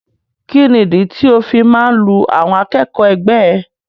Kini ìdí tí o fi máa n lu àwọn akẹ́kọ̀ọ́ ẹgbẹ ẹ?